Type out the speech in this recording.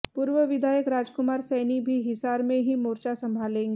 पूर्व विधायक राजकुमार सैनी भी हिसार में ही मोर्चा संभालेंगे